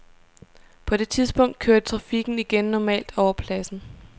På det tidspunkt kørte trafikken igen normalt over pladsen.